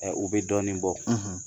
o bɛ dɔɔnin bɔ